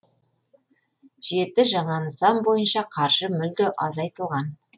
жеті жаңа нысан бойынша қаржы мүлде азайтылған